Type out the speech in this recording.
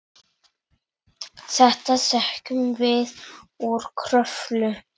Þetta þekkjum við úr Kröflu.